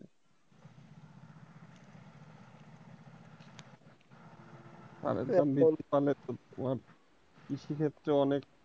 সারের দাম কৃষি ক্ষেত্রে অনেক,